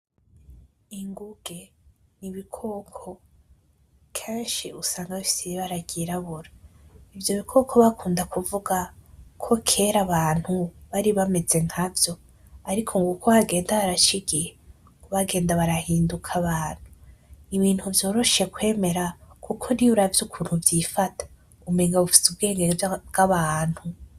Ingunge n'ibikoko kenshi usanga bifise ibara ry'irabura ivyo bikoko bakunda kuvuga ko kera abantu bari bameze nkavyo ariko ngo uko hagenda haraca igihe niko bagenda barahinduka abantu nibintu vyoroshe kwemera kuko niyo uravye ukuntu vyifata umenga bifise ubwenge bw'abantu.